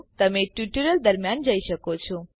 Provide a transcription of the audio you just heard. તમે ટ્યુટોરીયલ દરમ્યાન જઈ શકો છો